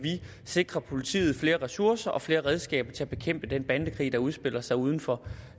sikre politiet flere ressourcer og flere redskaber til at bekæmpe den bandekrig der udspiller sig uden for